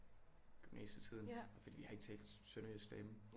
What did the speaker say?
Gymnasietiden fordi vi har ikke talt sønderjysk derhjemme